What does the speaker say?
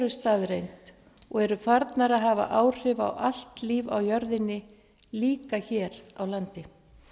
staðreynd og eru farnar að hafa áhrif á allt líf á jörðinni líka hér á landi